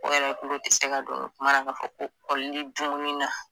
O yɛrɛ kulo ti se ka don kuma na k'a fɔ ko kɔlili dumuni na.